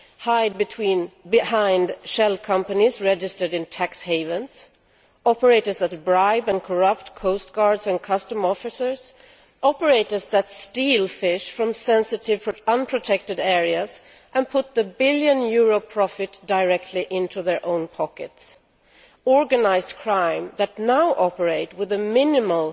hide behind shell companies registered in tax havens, operators that bribe and corrupt coastguards and customs officers, operators that steal fish from sensitive unprotected areas and put the billion euro profit directly into their own pockets, organised crime that now operate with a minimal